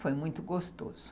Foi muito gostoso.